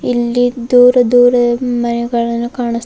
ಇಲ್ಲಿ ದೂರ ದೂರ ಮನೆಗಳನ್ನು ಕಾಣಸ್ --